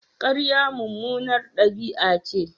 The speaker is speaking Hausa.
Ƙarya mummunar ɗabi'a ce.